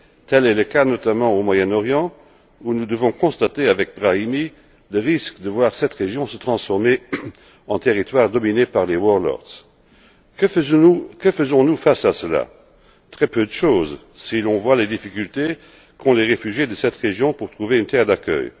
Tel est le cas notamment au Moyen Orient, où nous devons constater avec Brahimi le risque de voir cette région se transformer en territoire dominé par les Que faisons nous face à cela? Très peu de choses, si l'on voit les difficultés qu'ont les réfugiés de cette région pour trouver une terre d'accueil.